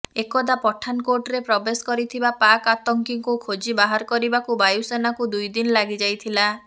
ଏକଦା ପଠାନକୋଟ୍ରେ ପ୍ରବେଶ କରିଥିବା ପାକ୍ ଆତଙ୍କୀଙ୍କୁ ଖୋଜି ବାହାର କରିବାକୁ ବାୟୁସେନାକୁ ଦୁଇଦିନ ଲାଗି ଯାଇଥିଲା